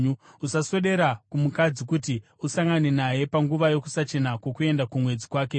“ ‘Usaswedera kumukadzi kuti usangane naye panguva yokusachena kwokuenda kumwedzi kwake.